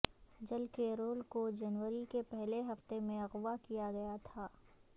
جل کیرول کو جنوری کے پہلے ہفتے میں اغوا کیا گیا تھا